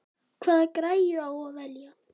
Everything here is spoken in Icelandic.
Hvaða græju á að velja?